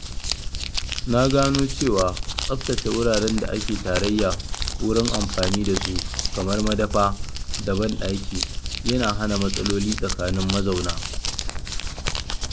Na gano cewa tsaftace wuraren da ake tarayya wurin amfani da su kamar madafa da banɗaki yana hana matsaloli tsakanin mazauna